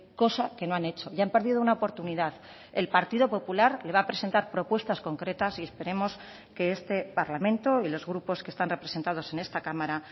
cosa que no han hecho y han perdido una oportunidad el partido popular le va a presentar propuestas concretas y esperemos que este parlamento y los grupos que están representados en esta cámara